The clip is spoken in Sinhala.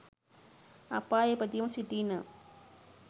අපායේ ඉපදීමට සිටී නම්